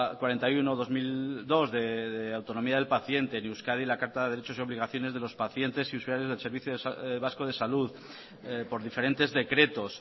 cuarenta y uno barra dos mil dos de autonomía del paciente en euskadi la carta de derechos y obligaciones de los pacientes y usuarios del servicio vasco de salud por diferentes decretos